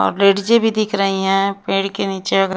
अब लेडीजे भी दिख रही हैं पेड़ के नीचे अ--